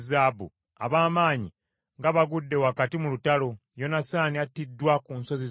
“Ab’amaanyi nga bagudde wakati mu lutalo! Yonasaani attiddwa ku nsozi zammwe.